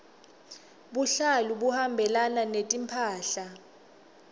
buhlalu buhambelana netimphahla